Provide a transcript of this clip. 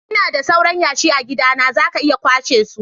lna da sauran yashi a'gidana, za ka iya kwashe su.